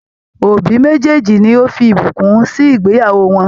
Òbí mejeeji ló fí ìbùkún sì ìgbéyàwó wọn.